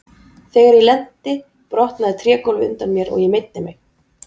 Þegar ég lenti brotnaði trégólfið undan mér og ég meiddi mig.